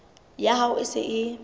ya hao e se e